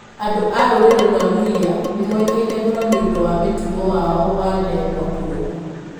Andũ a rũrĩrĩ rwa Luhya nĩ moĩkaine mũno nĩ ũndũ wa mũtugo wao wa ndegwa kũrũa.